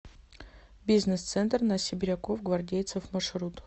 бизнес центр на сибиряков гвардейцев маршрут